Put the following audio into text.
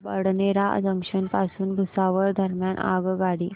Badnera junction पासून भुसावळ दरम्यान आगगाडी